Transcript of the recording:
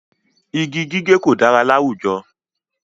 Igi gígé kò dára láwùjọ.